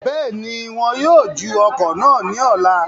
Bẹ́ẹ̀ni, awọn wọn yóò ju ọ̀kọ̀ náà ní ọ̀la